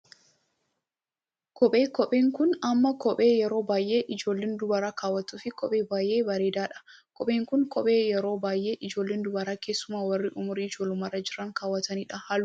Kophee, kopheen kun ammoo kophee yeroo baayyee ijoolleen dubaraa kaawwattuufi kophee baayyee bareeddu dha. Kopheen kun kophee yeroo baayyee ijoolleen dubaraa keessumaa warri umurii ijoollummaarra jiran kaawwatanidha. Halluu adiifi gurraacha qaba.